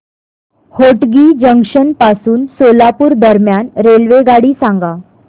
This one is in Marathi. होटगी जंक्शन पासून सोलापूर दरम्यान रेल्वेगाडी सांगा